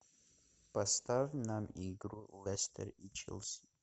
поставь нам игру лестер и челси